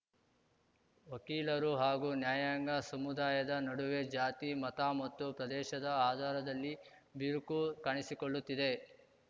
ವಕೀಲರು ಹಾಗೂ ನ್ಯಾಯಾಂಗ ಸಮುದಾಯದ ನಡುವೆ ಜಾತಿ ಮತ ಮತ್ತು ಪ್ರದೇಶದ ಆಧಾರದಲ್ಲಿ ಬಿರುಕು ಕಾಣಿಸಿಕೊಳ್ಳುತ್ತಿದೆ